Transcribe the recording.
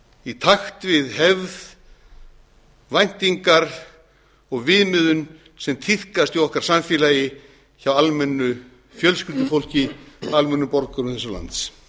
í takt við hefð væntingar og viðmiðun sem tíðkast í okkar samfélagi hjá almennu fjölskyldufólki almennum borgurum þessa lands